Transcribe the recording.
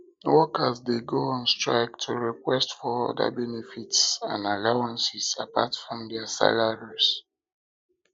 workers de go on strike to request for other benefits and allowances apart from their salary